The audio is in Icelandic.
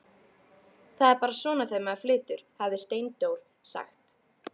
Það er bara svona þegar maður flytur, hafði Steindór sagt.